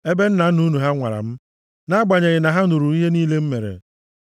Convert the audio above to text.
ebe nna nna unu ha nwara m, nʼagbanyeghị na ha hụrụ ihe niile m mere.